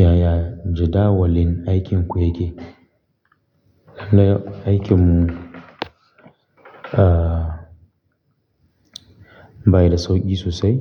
Yaya jadawalin aikinku yake? Lah aikin mu, ah, baya da sauƙi sosai.